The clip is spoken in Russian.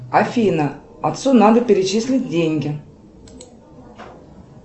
афина отцу надо перечислить деньги